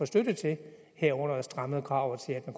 støtte til herunder strammede kravene så